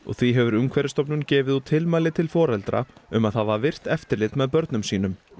því hefur Umhverfisstofnun gefið út tilmæli til foreldra um að hafa virkt eftirlit með börnum sínum